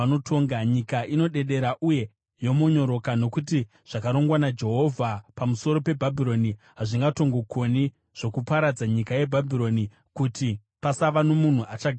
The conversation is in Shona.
Nyika inodedera uye yomonyoroka, nokuti zvakarongwa naJehovha pamusoro peBhabhironi hazvingatongokoni, zvokuparadza nyika yeBhabhironi kuti pasava nomunhu achagaramo.